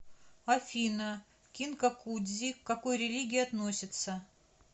афина кинкакудзи к какой религии относится